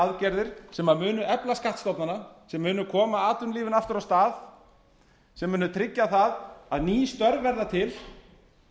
aðgerðir sem munu efla skattstofnana sem munu koma atvinnulífinu aftur á stað sem munu tryggja það að ný störf verða til